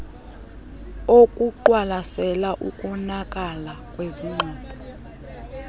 okuqwalasela ukonakala kwesixhobo